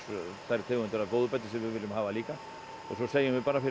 þær tegundir af fóðurbæti sem við viljum hafa og svo segjum við fyrir